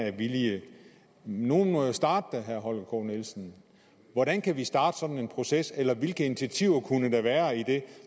er villige nogen må jo starte til herre holger k nielsen hvordan kan vi starte sådan en proces eller hvilke initiativer kunne der være i det